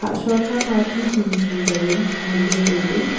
shuakha ma ti tung chu wai ngan ley tai ley.